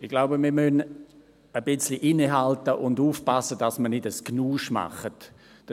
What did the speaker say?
Ich glaube, wir müssen ein wenig innehalten und aufpassen, dass wir nicht ein Durcheinander machen.